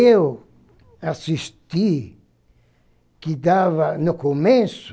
Eu assisti que dava, no começo,